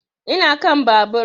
Ina kan babur